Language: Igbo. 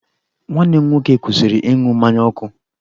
Nwanne m nwoke kwụsịrị ịṅụ mmanya ọkụ.